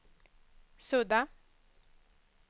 sudda